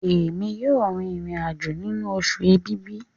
Èmi yóò rìn irin-ajo nínú Oṣù Ẹ̀bìbì.